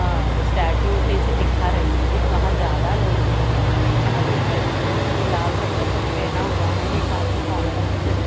अ statue जैसी दिखा रही है वहां ज्यादा लोग हैं यहां एक लड़की लाल रंग का शर्ट पहना हुआ है एक आदमी काला रंग का श--